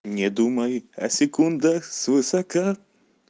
не думай о секундах с высока